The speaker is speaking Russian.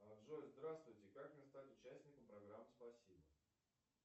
джой здравствуйте как мне стать участником программы спасибо